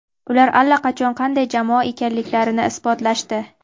Ular allaqachon qanday jamoa ekanliklarini isbotlashdi.